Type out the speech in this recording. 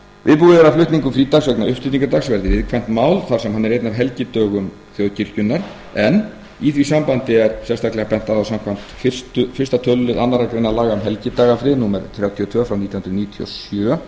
viðbúið er að flutningur frídags vegna uppstigningardags verði viðkvæmt mál þar sem hann er einn af helgidögum þjóðkirkjunnar en í því sambandi er bent á að samkvæmt fyrsta tölulið annarri grein laga um helgidagafrið númer þrjátíu og tvö nítján hundruð níutíu og sjö